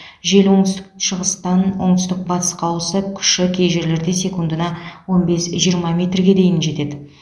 жел оңтүстік шығыстан оңтүстік батысқа ауысып күші кей жерлерде секундына он бес жиырма метрге дейін жетеді